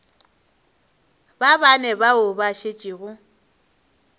ba bane bao ba šetšego